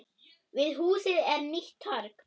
Við húsið er nýtt torg.